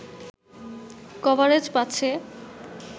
coverage পাচ্ছে